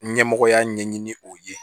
Ɲɛmɔgɔya ɲɛɲini o ye